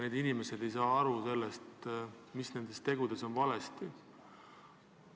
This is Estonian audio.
Need inimesed ei saa aru, mis nende tegudes valesti on olnud.